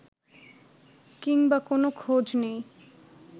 কিংবা কোনো খোঁজ নেই